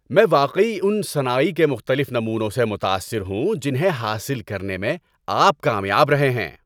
میں واقعی ان صناعی کے مختلف نمونوں سے متاثر ہوں جنہیں حاصل کرنے میں آپ کامیاب رہے ہیں۔